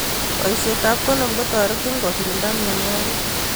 Boishet ab kondom kotoretinkokirinda mnyenwokik.